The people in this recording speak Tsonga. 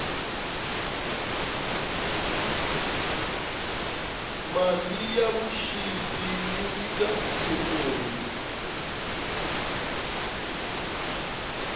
mali ya vuxisi yi wisa ikhonomi